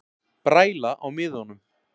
Bræla á miðunum